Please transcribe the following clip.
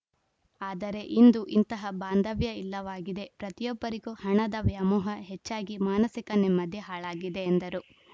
ಆದರೆ ಇಂದು ಇಂತಹ ಬಾಂಧವ್ಯ ಇಲ್ಲವಾಗಿದೆ ಪ್ರತಿಯೊಬ್ಬರಿಗೂ ಹಣದ ವ್ಯಾಮೋಹ ಹೆಚ್ಚಾಗಿ ಮಾನಸಿಕ ನೆಮ್ಮದಿ ಹಾಳಾಗಿದೆ ಎಂದರು